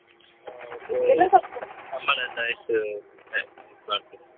ಸಂಬಳ ಎಲ್ಲಾ ಎಷ್ಟು ಇದ್ ಮಾಡ್ತೀರಾ?